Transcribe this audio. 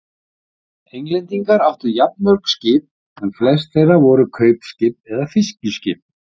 Englendingar áttu jafnmörg skip en flest þeirra voru kaupskip eða fiskiskip.